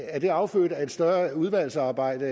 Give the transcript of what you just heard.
er det affødt af et større udvalgsarbejde